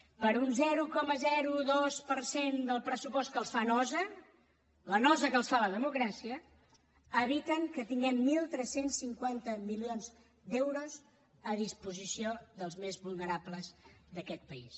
per un zero coma dos per cent del pressupost que els fa nosa la nosa que els fa la democràcia eviten que tinguem tretze cinquanta milions d’euros a disposició dels més vulnerables d’aquest país